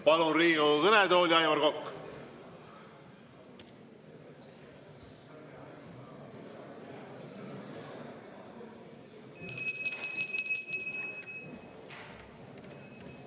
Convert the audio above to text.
Palun Riigikogu kõnetooli, Aivar Kokk!